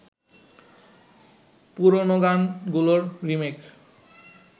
পুরনো গান গুলোর রিমেক